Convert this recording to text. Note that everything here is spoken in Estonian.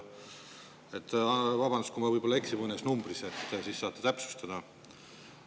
Vabandust, kui ma eksin mõne numbriga, siis saate mind täpsustada.